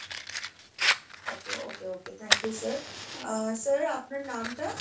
okay okay okay thank you sir ah sir আপনার নামটা?